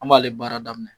An b'ale baara daminɛ